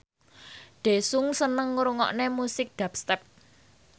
Daesung seneng ngrungokne musik dubstep